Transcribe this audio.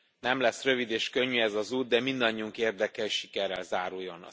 Nem lesz rövid és könnyű ez az út, de mindannyiunk érdeke, hogy sikerrel záruljon.